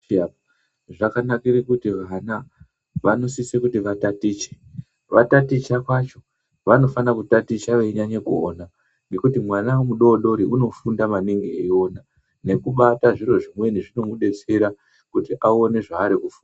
Zvakanakira kuti vana vanosisa kuti vatatiche vataticha kwacho vanofana kutaticha veinyanya kuona ngekuti mwana mudodori unofunda maningi eiona nekubata zviro zvimweni zvinomudetsera kuti aone zvaari kufunda